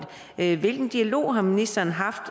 hvilken dialog har ministeren haft